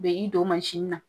U be i don na.